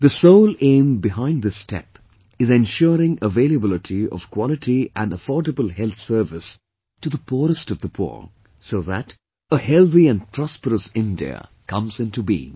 The sole aim behind this step is ensuring availability of Quality & affordable health service to the poorest of the poor, so that a healthy & prosperous India comes into being